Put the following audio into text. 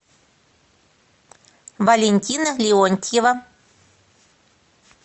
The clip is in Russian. валентина леонтьева